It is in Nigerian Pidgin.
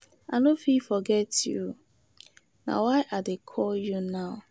I no fit forget you, na why I dey call you now.